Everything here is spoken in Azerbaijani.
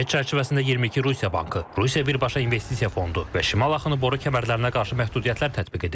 Paket çərçivəsində 22 Rusiya bankı, Rusiya birbaşa investisiya fondu və şimal axını boru kəmərlərinə qarşı məhdudiyyətlər tətbiq edilir.